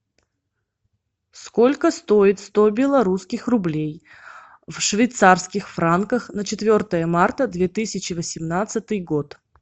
сколько стоит сто белорусских рублей в швейцарских франках на четвертое марта две тысячи восемнадцатый год